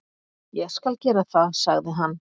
"""Ég skal gera það, sagði hann."""